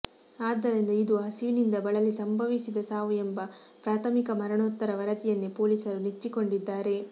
ಆದ್ದರಿಂದ ಇದು ಹಸಿವಿನಿಂದ ಬಳಲಿ ಸಂಭವಿಸಿದ ಸಾವು ಎಂಬ ಪ್ರಾಥಮಿಕ ಮರಣೋತ್ತರ ವರದಿಯನ್ನೇ ಪೊಲೀಸರು ನೆಚ್ಚಿಕೊಂಡಿದ್ದಾರೆ